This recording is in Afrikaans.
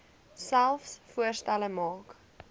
selfs voorstelle maak